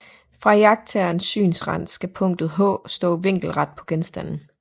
Fra iagttagerens synsrand skal punktet h stå vinkelret på genstanden